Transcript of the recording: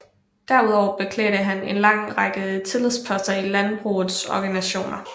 Derudover beklædte han en lang række tillidsposter i landbrugets organisationer